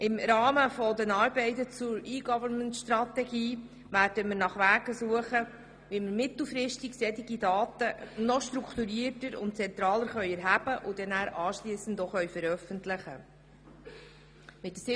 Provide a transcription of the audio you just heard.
Im Rahmen der Arbeiten zur E-Government-Strategie werden wir nach Wegen suchen, wie wir mittelfristig diese Daten noch strukturierter und zentraler erheben und anschliessend veröffentlichen können.